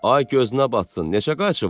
Ay gözünə batsın, neçə qayçı var?